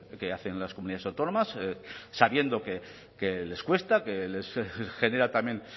que hacen las comunidades autónomas sabiendo que les cuesta que les genera también